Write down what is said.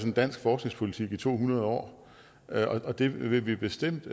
dansk forskningspolitik i to hundrede år og det vil vi bestemt